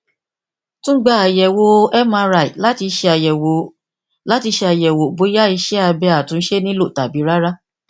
tun gba ayẹwo mri lati ṣayẹwo lati ṣayẹwo boya iṣẹ abẹ atunṣe nilo tabi rara